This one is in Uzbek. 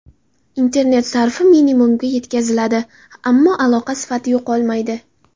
Internet sarfi minimumga yetkaziladi, ammo aloqa sifati yo‘qolmaydi.